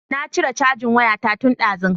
Na cire cajin waya ta tun dazu